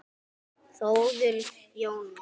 Þórður Jóns